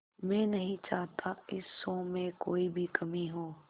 मैं नहीं चाहता इस शो में कोई भी कमी हो